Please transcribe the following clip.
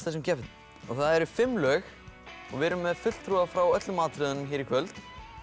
þessum keppendum og það eru fimm lög og við erum með fulltrúa frá öllum atriðunum hér í kvöld